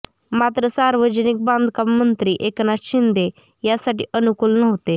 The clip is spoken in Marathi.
मात्र सार्वजनिक बांधकाम मंत्री एकनाथ शिंदे यासाठी अनुकूल नव्हते